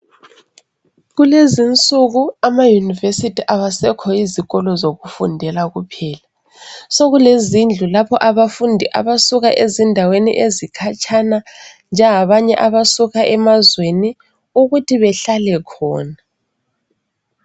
Kulezinsuku amauniversity awasekho yizikolo zokufundela kuphela sekule zindlu lapho abafundi abasuka ezindaweni ezikhatshana njengabanye abasuka emazweni ukuthi behlale khona